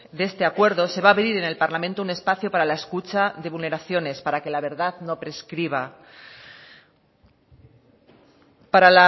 de este acuerdo se va a abrir en el parlamento un espacio para la escucha de vulneraciones para que la verdad no prescriba para